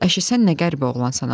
Əşi sən nə qəribə oğlansan ha.